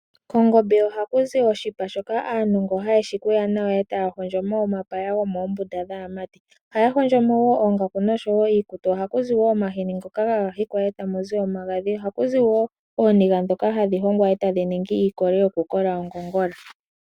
Kongombe ohaku zi oshipa shoka aanongo haye shi kweya nawa eta ya hondjo mo omapaya gomoombunda dhaamati. Oha ya hodjo mo wo oongaku nosho wo niikutu. Ohaku zi omahini ngoka haga hikwa eta ku zi omagadhi. Ohaku zi wo ooniga ndhoka hadhi hongwa eta dhi ningwa iikole yokukola ongongola.